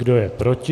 Kdo je proti?